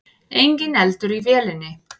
Enginn eldur í vélinni